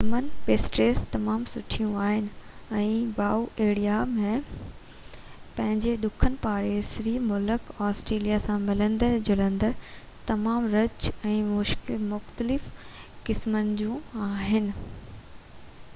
German pastries تمام سُٺيون آهن ۽ باواريا ۾ پنهنجي ڏکڻ پاڙيسري ملڪ آسٽريا سان ملندڙ جلندڙ تمام رچ ۽ مختلف قسمن جون آهن